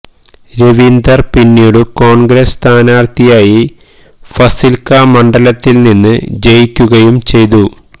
ദേവീന്ദർ പിന്നീടു കോൺഗ്രസ് സ്ഥനാർഥിയായി ഫസിൽക്കാ മണ്ഡലത്തിൽ നിന്ന് ജയിക്കുകയും ചെയ്തു